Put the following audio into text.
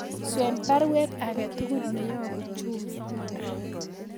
Swen baruet aketugul neyobu Jumia